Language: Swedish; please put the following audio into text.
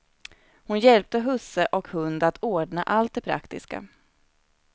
Hon hjälpte husse och hund att ordna allt det praktiska.